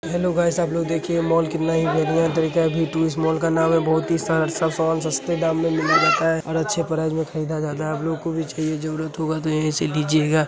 Hello guys आप लोग देखिये मॉल कितना । मॉल का नाम है। बोहत ही समान सस्ते दाम में मिला जाता है और अच्छे प्राइज में खरीदा जाता है | आपलोग को भी चहिये ज़रूरत होगा तो यहीं से लीजियेगा |